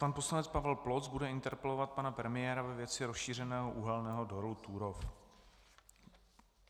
Pan poslanec Pavel Ploc bude interpelovat pana premiéra ve věci rozšířeného uhelného dolu Turów.